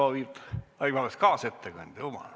Vabandust, kaasettekandja!